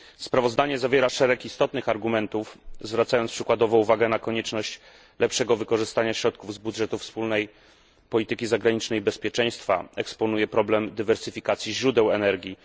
Sprawozdanie zawiera szereg istotnych argumentów, zwracając przykładowo uwagę na konieczność lepszego wykorzystania środków z budżetu wspólnej polityki zagranicznej i bezpieczeństwa, eksponuje problem dywersyfikacji źródeł energii.